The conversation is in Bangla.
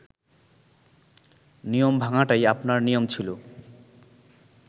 নিয়ম ভাঙাটাই আপনার নিয়ম ছিল